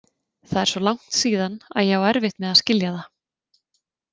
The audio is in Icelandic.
Það er svo langt síðan að ég á erfitt með að skilja það.